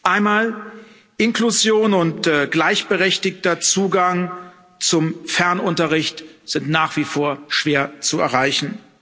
Einmal Inklusion und gleichberechtigter Zugang zum Fernunterricht sind nach wie vor schwer zu erreichen.